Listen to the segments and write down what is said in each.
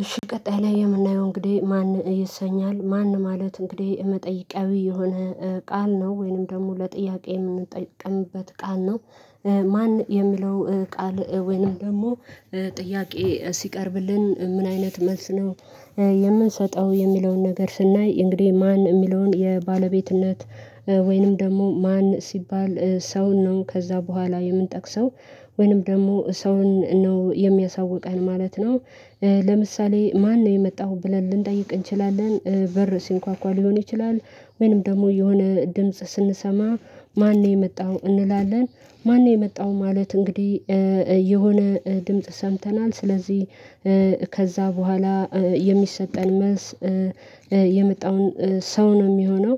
እሺ ቀጣይ ላይ የምናየው እንግዲህ ማን ይሰኛል ማን ማለት እንግዲህ የመጠየቃዊ የሆነ ቃል ነው ወይንም ደግሞ ለጥያቄ የምንጠቀምበት ቃል ነው። ማን የሚለው ቃል ወይንም ደግሞ ጥያቄ ሲቀርብልን ምን አይነት መልስ ነው? የምንሰጠው የሚለውን ነገር ስናይ እንግዲህ ማን የሚለውን የባለቤትነት ወይንም ደግሞ ማን ሲባል ሰውን ነው ከዛ በኋላ የምንጠቅሰው ወይንም ደግሞ ሰውን ነው የሚያሳውቀን ማለት ነው። ለምሳሌ ማነው የመጣሁ ብለን ልንጠይቅ እንችላለን በር ሲንኳኳ ሊሆን ይችላል። ወይንም ደግሞ የሆነ ድምጽ ስንሰማ ማነው የመጣው እንላለን? ማነው የመጣው ማለት እንግዲህ። የሆነ ድምጽ ሰምተናል ስለዚህ ከዛ በኋላ የሚሰጠን መልስ የመጣውን ሰው ነው የሚሆነው።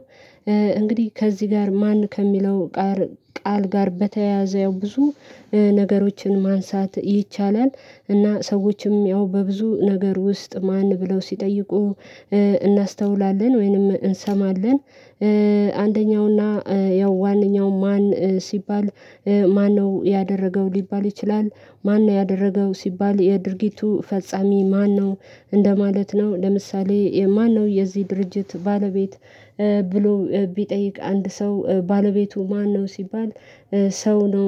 እንግዲህ ከዚህ ጋር ማን ከሚለው ቃል ጋር በተያያዘ ያው ብዙ ነገሮችን ማንሳት ይቻላል። እና ሰዎችም ያው በብዙ ነገር ውስጥ ማን ብለው ሲጠይቁ እናስተውላለን ወይንም እንሰማለን። አንደኛውና ያው ዋነኛው ማን ሲባል ማነው ያደረገው ሊባል ይችላል። ማነው ያደረገው ሲባል የድርጊቱ ፈጻሚ ማነው? እንደማለት ነው ለምሳሌ የማነው የዚህ ድርጅት ባለቤት? ብሎ ቢጠይቅ አንድ ሰው ባለቤቱ ማነው ሲባል ሰው ነው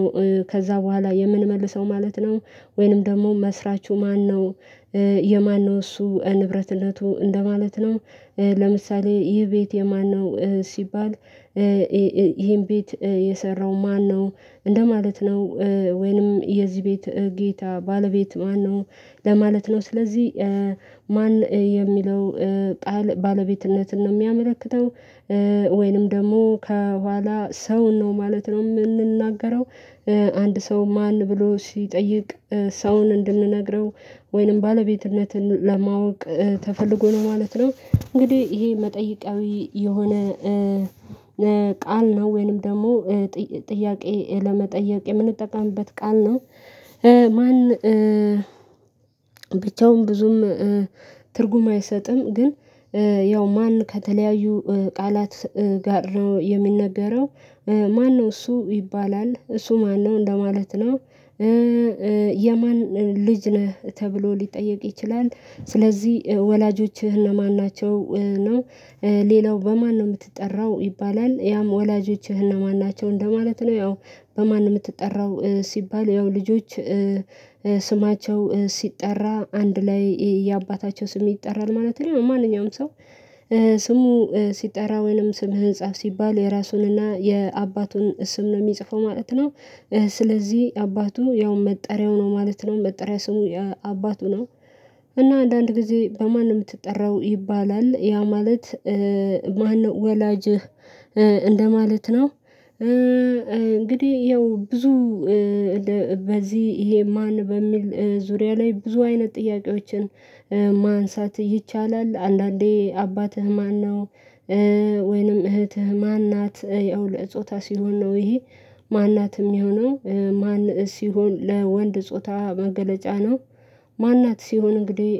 ከዛ በኋላ የምንመልሰው ማለት ነው። ወይንም ደግሞ መስራቹ ማነው? የማነው እሱ ንብረትነቱ እንደማለት ነው። ለምሳሌ ይህ ቤት የማነው ሲባል ይሄን ቤት የሰራው ማነው? እንደማለት ነው ወይንም የዚህ ቤት ጌታ ባለቤት ማነው ለማለት ነው። ስለዚህ ማን የሚለው ቃል ባለቤትነትን ነው የሚያመለክተው። ወይንም ደግሞ ከኋላ ሰውን ነው ማለት ነው የምንናገረው። አንድ ሰው ማን ብሎ ሲጠይቅ ሰውን እንድንነግረው ወይንም ባለቤትነትን ለማወቅ ተፈልጎ ነው ማለት ነው። እንግዲህ ይሄ መጠየቃዊ የሆነ ቃል ነው ወይንም ደግሞ ጥያቄ ለመጠየቅ የምንጠቀምበት ቃል ነው። ማን ብቻውን ብዙም ትርጉም አይሰጥም። ግን ያው ማን ከተለያዩ ቃላት ጋር ነው የምንነገረው ማነው እሱ ይባላል እሱ ማነው እንደማለት ነው። የማን ልጅ ነህ ተብሎ ሊጠየቅ ይችላል። ስለዚህ ወላጆችህ እነማን ናቸው ነው? ሌላው በማን ነው የምትጠራው ይባላል ያም ወላጆችህ እነማን ናቸው እንደማለት ነው። ያው በማን የምትጠራው ሲባል ያው ልጆች ስማቸው ሲጠራ አንድ ላይ የአባታቸው ስም ይጠራል ማለት ነው። ማንኛውም ሰው ስሙ ሲጠራ ወይንም ስምህን ጻፍ ሲባል የራሱንና የአባቱን ስም ነው የሚጽፈው ማለት ነው። ስለዚህ አባቱ ያው መጠሪያው ነው ማለት ነው መጠሪያ ስሙ አባቱ ነው። እና አንዳንድ ጊዜ በማን ነው የምትጠራው ይባላል ያ ማለት ማነው ወላጅህ እንደማለት ነው። እንግዲህ ያው ብዙ በዚህ ይሄ ማን በሚል ዙሪያ ላይ ብዙ አይነት ጥያቄዎችን ማንሳት ይቻላል። አንዳንዴ አባትህ ማነው? ወይንም እህትህ ማን ናት ያው ለጾታ ሲሆን ነው ይሄ ማን ናት የሚሆነው ማን ሲሆን ለወንድ ጾታ መገለጫ ነው። ማን ናት ሲሆን እንግዲህ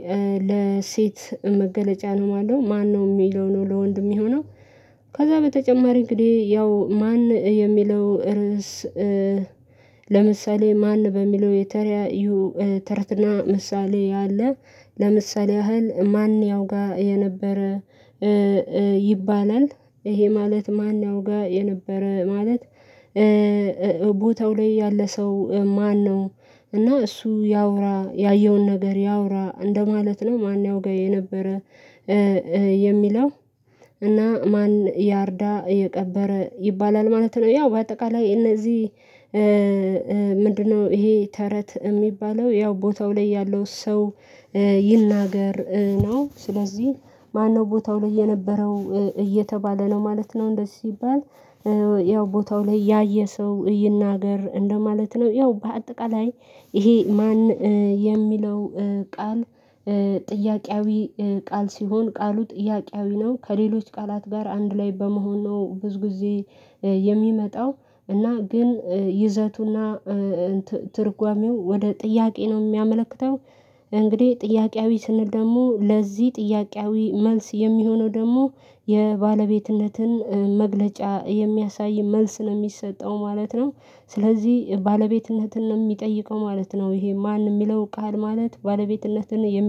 ለሴት መገለጫ ነው ማለት ነው። ማነው የሚለው ነው ለወንድ የሚሆነው። ከዛ በተጨማሪ እንግዲህ ያው ማን የሚለው ርዕስ። ለምሳሌ ማን በሚለው የተረያዩ ተረትና ምሳሌ ያለ ለምሳሌ ያህል ማን ያውጋ የነበረ ይባላል ይሄ ማለት ማን ያውጋ የነበረ ማለት ቦታው ላይ ያለ ሰው ማነው? እና እሱ ያውራ ያየውን ነገር ያውራ እንደማለት ነው ማነው ያውቀው የነበረ የሚለው እና ማን ያርዳ የቀበረ ይባላል ማለት ነው። ያው በአጠቃላይ እነዚህ ምንድነው ይሄ ተረት የሚባለው ያው ቦታው ላይ ያለው ሰው ይናገር ነው። ስለዚህ ማነው ቦታው ላይ የነበረው እየተባለ ነው ማለት ነው። እንደዚህ ሲባል ያው ቦታው ላይ ያየ ሰው ይናገር እንደው ማለት ነው። ያው በአጠቃላይ ይሄ ማን የሚለው ቃል ጥያቄያዊ ቃል ሲሆን ቃሉ ጥያቄያዊ ነው ከሌሎች ቃላት ጋር አንድ ላይ በመሆን ነው ብዙ ጊዜ የሚመጣው እና ግን ይዘቱና ትርጓሜው ወደ ጥያቄ ነው የሚያመለክተው። እንግዲህ ጥያቄያዊ ስንል ደግሞ ለዚህ ጥያቄያዊ መልስ የሚሆነው ደግሞ የባለቤትነትን መግለጫ የሚያሳይ መልስ ነው የሚሰጠው ማለት ነው። ስለዚህ ባለቤትነትን የሚጠይቀው ማለት ነው ይሄ ማን የሚለው ቃል ማለት ባለቤትነትን